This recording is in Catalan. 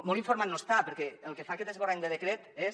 molt informat no està perquè el que fa aquest esborrany de decret és